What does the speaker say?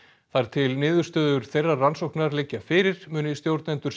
þar til niðurstöður þeirrar rannsóknar liggja fyrir muni stjórnendur